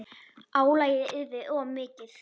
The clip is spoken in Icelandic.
Álagið yrði of mikið.